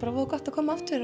og gott að koma aftur